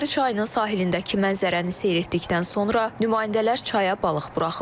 Həkəri çayının sahilindəki mənzərəni seyr etdikdən sonra nümayəndələr çaya balıq buraxıblar.